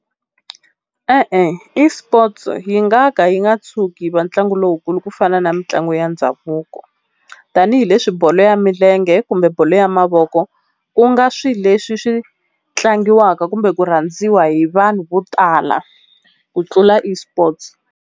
E-e eSports yi nga ka yi nga tshuki yi va ntlangu lowukulu ku fana na mitlangu ya ndhavuko, tanihileswi bolo ya milenge kumbe bolo ya mavoko ku nga swi leswi swi tlangiwaka kumbe ku rhandziwa hi vanhu vo tala ku tlula eSports.